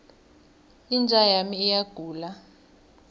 inja yami iyagula